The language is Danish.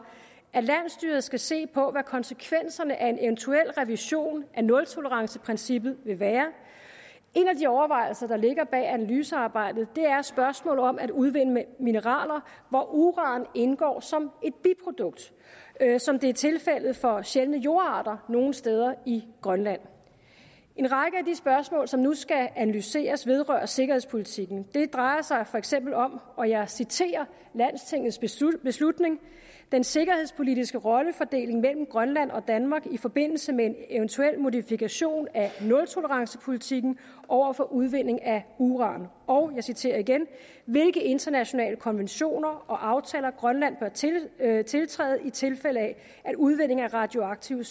at landsstyret skal se på hvad konsekvenserne af en eventuel revision af nultoleranceprincippet vil være en af de overvejelser der ligger bag analysearbejdet er spørgsmålet om at udvinde mineraler hvor uran indgår som et biprodukt som det er tilfældet for sjældne jordarter nogle steder i grønland en række af de spørgsmål som nu skal analyseres vedrører sikkerhedspolitikken det drejer sig for eksempel om og jeg citerer landstingets beslutning den sikkerhedspolitiske rollefordeling i mellem grønland og danmark i forbindelse med en eventuel modifikation af nultolerencepolitiken overfor udvindingen af uran og jeg citerer igen hvilke internationale konventioner og aftaler bør grønland tiltræde i tilfælde af udvinding af radioaktive